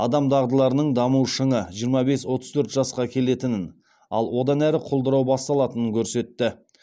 адам дағдыларының даму шыңы жиырма бес отыз төрт жасқа келетінін ал одан әрі құлдырау басталатынын көрсетті